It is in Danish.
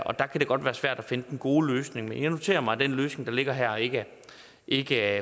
og der kan det godt være svært at finde den gode løsning men jeg noterer mig at den løsning der ligger her ikke ikke